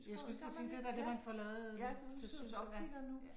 Jeg skulle lige til at sige det er da det man får lavet til syns